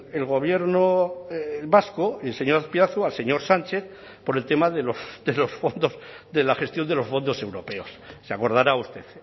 el gobierno vasco el señor azpiazu al señor sánchez por el tema de los fondos de la gestión de los fondos europeos se acordará usted